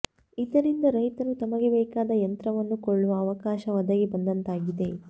ಇದರಿಂದ ರೈತರು ತಮಗೆ ಬೇಕಾದ ಯಂತ್ರವನ್ನು ಕೊಳ್ಳುವ ಅವಕಾಶ ಒದಗಿ ಬಂದಂತಾಗಿದೆ